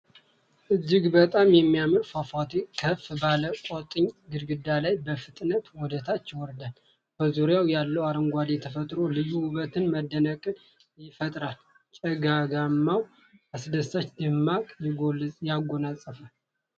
እጅግ በጣም የሚያምር ፏፏቴ ከፍ ባለ ቋጥኝ ግድግዳ ላይ በፍጥነት ወደታች ይወርዳል። በዙሪያው ያለው አረንጓዴ ተፈጥሮ ልዩ ውበትንና መደነቅን ይፈጥራል፤ ጭጋጋማው ትነት አስደሳች ድባብ ያጎናጽፋል።